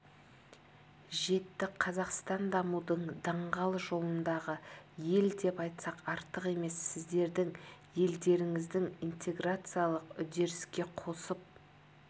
жетті қазақстан дамудың даңғыл жолындағы ел деп айтсақ артық емес сіздердің елдеріңіздің интеграциялық үрдіске қосып